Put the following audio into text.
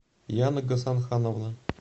яна гасанхановна